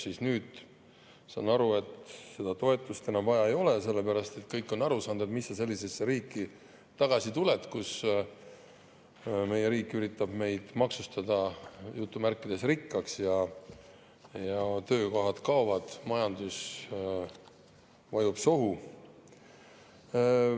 Saan aru, et nüüd seda toetust enam vaja ei ole, sellepärast et kõik on aru saanud, et mis sa sellisesse riiki ikka tagasi tuled – riik üritab meid maksustada "rikkaks" ja töökohad kaovad, majandus vajub sohu.